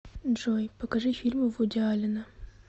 джой покажи фильмы вуди аллена